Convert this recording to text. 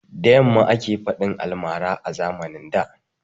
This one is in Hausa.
Da yamma ake faɗin almara a zamanin da